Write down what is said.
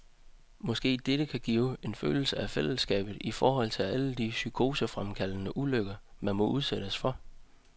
Måske dette kan give en følelse af fællesskab i forhold til alle de psykosefremkaldende ulykker, man måtte udsættes for?